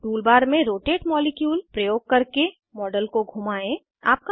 tool bar में rotate molecule प्रयोग करके मॉडल को घुमाएं